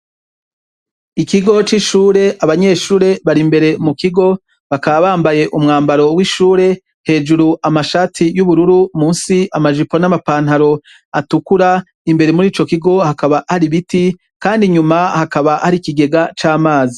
ikigo c'ishure abanyeshure bari imbere mukigo bakaba bambaye umwambaro w' ishure hejuru amashati y’ubururu musi amajipo n' ama pantaro atukura imbere murico kigo hakaba hari ibiti kandi inyuma hakaba hari ikigega c' amazi.